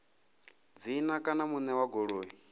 dzina kana muṋe wa goloi